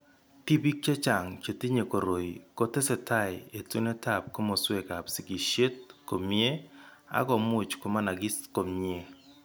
Tibik chechang' chetinye koroi ko tesetai etunetab kamoswekab sigishet komnyie ak much konamanagis komnyie.